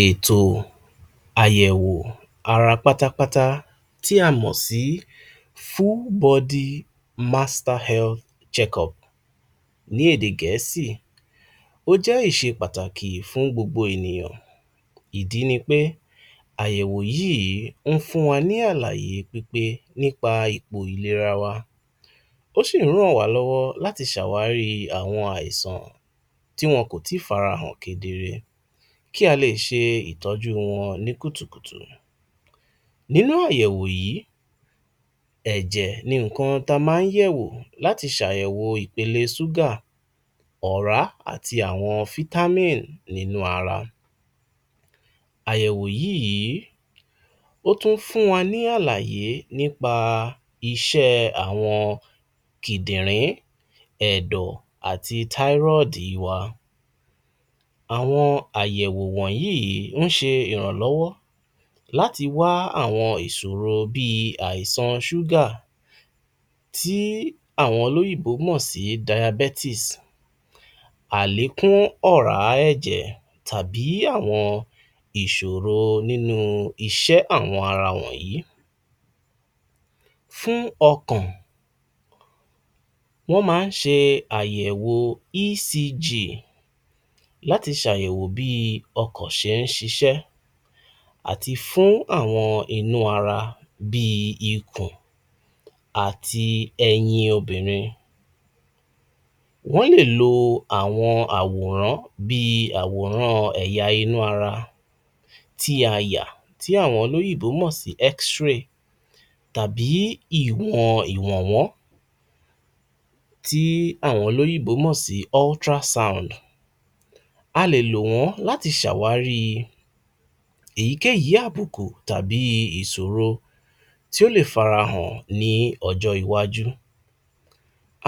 Ètò àyẹ̀wó ara pátápátá tí a mọ̀ sí full body master health check up ní èdè Gẹ̀ẹ́sì, ó jẹ́ ìṣe pàtàkì fún gbogbo ènìyàn, ìdí ni pé àyẹ̀wò yíi ń fún wa ní àlàyé pípé ní pa ipò ìlera wa, ó sì ń ràn wá lọ́wọ́ láti ṣèwárí àwọn àìsàn tí wọ́n kò tí farahàn kedere kí a lè ṣe ìtọ́jú wọn ní kùtùkùtù, nínú àyẹ̀wò yìí ẹ̀jẹ̀ ni ǹkan ta ma ń yẹ̀wò láti sàyẹ̀woò ipele súgà ọ̀rá, àti àwọn fítámì nínú ara. Àyẹ̀wò yíi ó tún fún wa ní àlàyé ní pa iṣẹ́ àwọn kìdìrín ẹ̀dọ̀ àti táírọ́dì wa. Àwọn àyẹ̀wò wọ̀nyí ó ń ṣe ìrànlọ́wọ́ láti wa àwọn ìsòro bíi àìsan súgà tí àwọn olọ́yìnbó mọ̀ sí Diabetes àlékún ọ̀rá ẹ̀jẹ̀ tàbí àwọn ìsòro nínú iṣẹ́ àwọn ara wọ̀nyí, fún ọkàn wọ́n ma ń ṣe àyẹ̀wò ECG láti sàyẹ̀wò bí i ọkàn ti ń ṣiṣẹ́ àti fún àwọn inú ara bíi ikùn àti ẹyin obìnrin, wọ́n lè lo àwọn àwòrán bíi àwòrán ẹ̀yà inú ara tí a yà, tí àwọn olóyìnbó mò sí xray tàbí ìwọn ìwọ̀nwọ́n tí àwọn olóyìnbó mò sí ultrasound a lè lò wọ́n láti ṣàwárí èyí kèyí àbùkù tàbí ìṣòro tí ó lè farahàn ni ọjọ́ iwájú.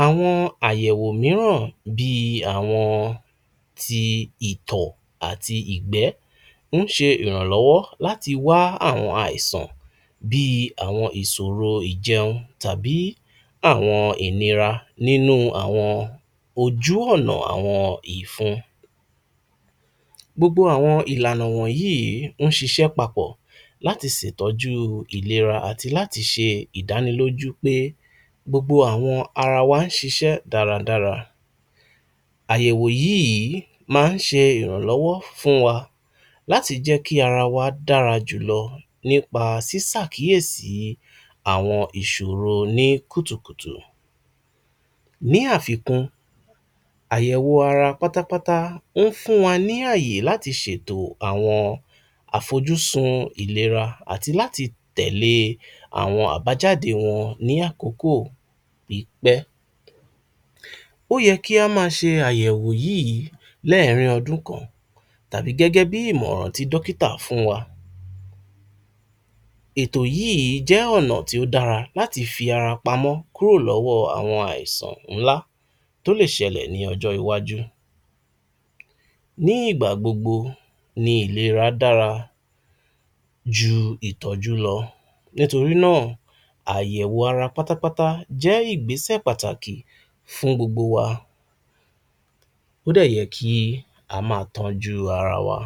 Àwọn àyẹ̀wò míràn bíi àwọn ti ìtọ̀ àti ìgbẹ́ ń ṣe ìrànlọ́wọ́ láti wá àwọn àìsàn bíi àwọn ìsòro ìjẹun tábí àwọn ìnira nínú àwọn ojú ọ̀nà àwọn ìfun, gbogbo àwọn ìlànà wọ̀nyí wọ́n ṣiṣẹ́ papọ̀ láti sè tọ́jú ìlera àti láti ṣe ìdánilójú pé gbogbo àwọn ara wa ń ṣiṣẹ́ dáradára. Àyẹ̀wò yíi ma ń ṣe ìrànlọ́wọ́ fún wa láti kí ara wa dára jùlọ ní pa sí sàkíyèsí àwọn ìsòro ní kùtùkùtù ní àfikún, àyẹ̀wò ara pátápátá ó fún wa ní àyè láti sètò àwọn àfojúsùn ìlera àti láti tẹ̀lé e àwọn àbájáde wọn ní àkókò pípé. Ó yẹ kí a ma ṣe àyẹ̀wò yíi lẹ́ẹ̀ẹ́rín ọdún kan tàbí gẹ́gẹ́ bí ìmọ̀ràn tí dókítà fún wa, ẹ̀tò yìi jẹ́ ọ̀nà tí ó dára láti fi ara pamọ́ kúrò lọ́wọ́ àwọn àìsàn ńlá tó lè ṣẹlẹ̀ ní ọjọ́ iwájú. Ní ìgbà gbogbo ni ìlera dára ju ìtọ́jú lọ nítorí náà, àyẹ̀wò ara pátápátá jẹ́ ìgbẹ́ṣẹ̀ pàtàkì fún gbogbo wa. Ó dẹ̀ yẹ kí a má a tójú ara wa.